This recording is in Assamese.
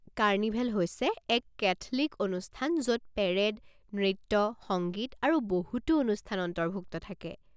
কাৰ্নিভেল হৈছে এক কেথলিক অনুষ্ঠান য'ত পেৰেড, নৃত্য, সংগীত আৰু বহুতো অনুষ্ঠান অন্তৰ্ভুক্ত থাকে।